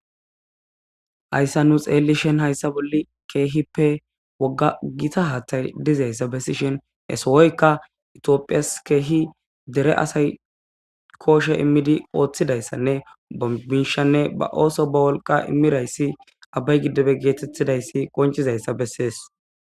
Hayssa nu xeellishen hayssa bolli keehippe wogga gita haathay dizayssa bessishen he sohoyka ithiophiyassi keehi dere asay kooshe immidi ooththidayssanne ba miishanne ba ooso ba wolqa imirayssi abbay giddibe geetettidayssi qonchizayssa bessees.